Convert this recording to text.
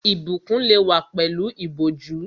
Ìbùkún lè wá pẹ̀lú ìbòjú